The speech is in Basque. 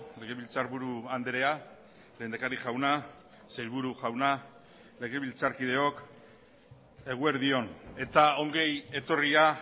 legebiltzarburu andrea lehendakari jauna sailburu jauna legebiltzarkideok eguerdi on eta ongietorria